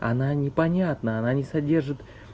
она непонятно она не содержит